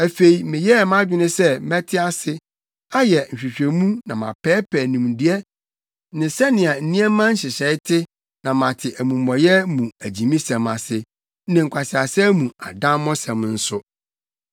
Afei meyɛɛ mʼadwene sɛ mɛte ase, ayɛ nhwehwɛmu na mapɛɛpɛɛ nimdeɛ ne sɛnea nneɛma nhyehyɛe te na mate amumɔyɛ mu agyimisɛm ase, ne nkwaseasɛm mu adammɔsɛm nso.